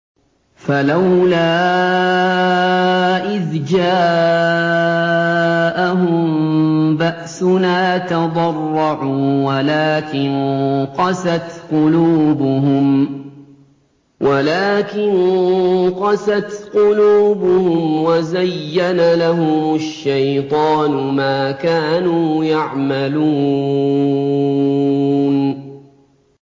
فَلَوْلَا إِذْ جَاءَهُم بَأْسُنَا تَضَرَّعُوا وَلَٰكِن قَسَتْ قُلُوبُهُمْ وَزَيَّنَ لَهُمُ الشَّيْطَانُ مَا كَانُوا يَعْمَلُونَ